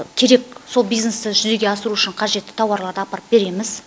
керек сол бизнесті жүзеге асыру үшін қажетті тауарларды апарып береміз